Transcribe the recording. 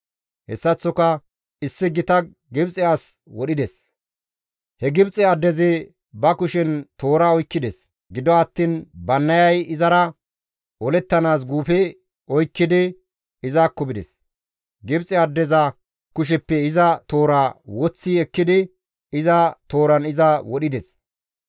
Hessaththoka issi gita Gibxe as wodhides; he Gibxe addezi ba kushen toora oykkides; gido attiin Bannayay izara olettanaas guufe oykkidi izakko bides; Gibxe addeza kusheppe iza toora woththi ekkidi iza tooran iza wodhides.